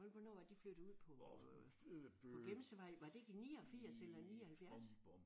Folk hvornår var de flyttede ud på på Gemsevej? Var det ikke i 89 eller 79?